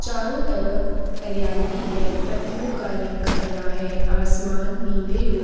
चारों तरफ हरियाली है। पत्तियों का रंग हरा है आसमान नीले ओ --